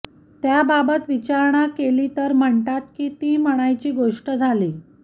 त्याबाबत विचारणा केली तर म्हणतात की ती म्हणायची गोष्ट झाली